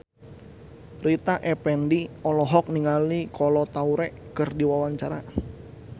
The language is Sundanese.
Rita Effendy olohok ningali Kolo Taure keur diwawancara